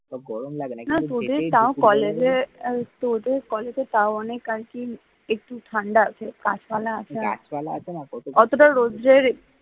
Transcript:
না তোর গরম লাগে না না তোদের তাও কলেজে আর কি তোদের কলেজে আর কি তাও অনেক আর কি একটু ঠান্ডা মানে গাছপালা আছে গাছপালা আছেনা অতটাও রুদ্রের